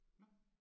Nåh